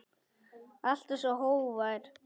Alltaf svo hógvær.